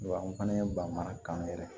Wa n fana ye ba mara kan yɛrɛ